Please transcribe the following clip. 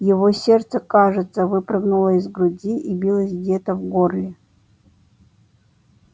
его сердце кажется выпрыгнуло из груди и билось где-то в горле